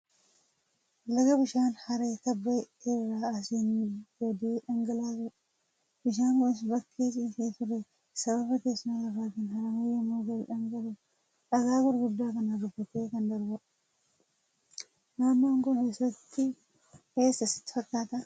Laga bishaan haree tabba irraa asiin gadee dhangalaasudha. Bishaan kunis bakka ciisee turee sababa teessuma lafaatiin haramee yommuu gadi dhangala'u dhagaa gurguddaa kana rukutee kan darbudha. Naannoon kun eessa sitti fakkaata?